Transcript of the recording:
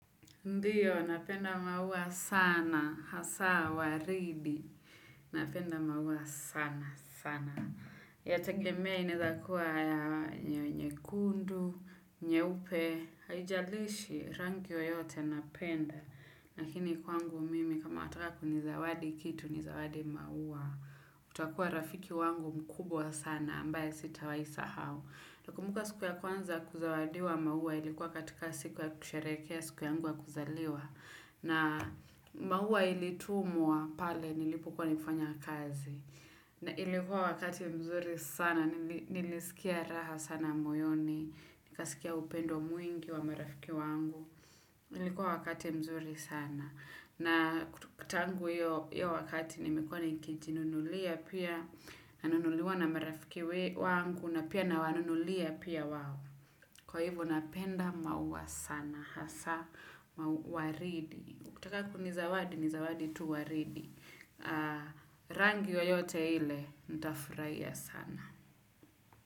Ndiyo, napenda maua sana, hasa, waridi. Napenda maua sana, sana. Yategemea inezakuwa nyekundu, nyeupe, haijalishi rangi yoyote napenda. Lakini kwangu mimi kama wataka kuni zawadi kitu ni zawadi maua. Utakuwa rafiki wangu mkubwa sana ambaye sitawai sahau. Takumbuka siku ya kwanza kuzawadiwa maua ilikuwa katika siku ya kusharekea siku yangu ya kuzaliwa na maua ilitumwa pale nilipokuwa nikifanya kazi na ilikuwa wakati mzuri sana nilisikia raha sana moyoni nikasikia upendo mwingi wa marafiki wangu ilikuwa wakati mzuri sana na tangu hiyo wakati nimekuwa nikijununulia pia nanunuliwa na marafiki wangu napia na wanunulia pia wawo. Kwa hivo, napenda maua sana. Hasa, mau waridi. Ukitaka kuni zawadi, ni zawadi tu waridi. Rangi yoyote ile, ntafurahia sana.